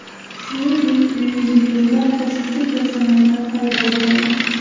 Shuningdek, myuziklda qo‘shimcha personajlar paydo bo‘ladi.